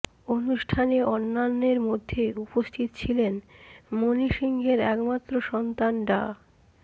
অনুষ্ঠানে অন্যান্যের মধ্যে উপস্থিত ছিলেন মণি সিংহের একমাত্র সন্তান ডা